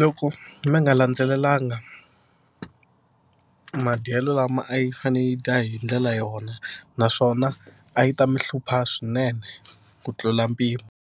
loko mi nga landzelelanga madyelo lama a yi fanele yi dya hi ndlela yona naswona a yi ta mi hlupha swinene ku tlula mpimo.